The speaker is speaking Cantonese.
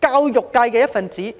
教育界的一分子。